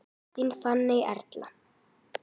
Þín Fanney Erla.